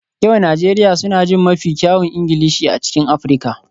Yan Najeriya suna jin mafi kyawun Ingilishi a cikin Afirka